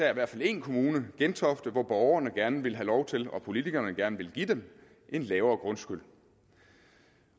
i hvert fald én kommune gentofte hvor borgerne gerne vil have lov til og politikerne gerne vil give dem en lavere grundskyld